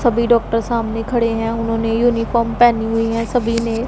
सभी डॉक्टर सामने खड़े हैं उन्होंने यूनिफॉर्म पहनी हुई है सभी ने--